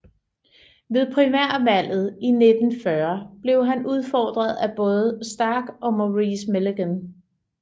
Ved primærvalget i 1940 blev han udfordret af både Stark og Maurice Milligan